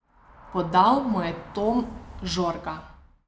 Podal mu je Tom Žorga.